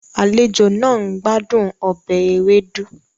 Àlejò náà ń gbádùn ọbẹ̀ ewedu